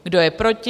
Kdo je proti?